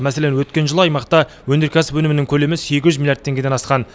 мәселен өткен жылы аймақта өнеркәсіп өнімінің көлемі сегіз жүз миллиард теңгеден асқан